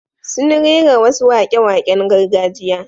Sun rera wasu waƙe-waƙen gargajiya.